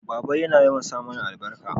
baba na yawan sa mana albarka